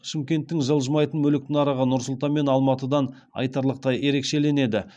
шымкенттің жылжымайтын мүлік нарығы нұр сұлтан мен алматыдан айтарлықтай ерекшеленеді